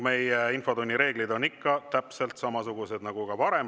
Meie infotunni reeglid on ikka täpselt samasugused nagu varem.